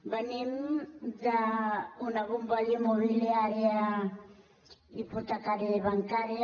venim d’una bombolla immobiliària hipotecària i bancària